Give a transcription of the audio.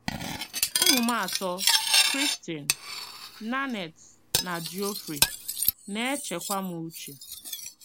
Ụmụ m atọ — Christine, Nanette, na Geoffrey — na - echekwa m uche.